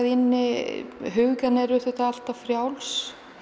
inni hugurinn er auðvitað alltaf frjáls